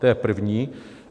To je první.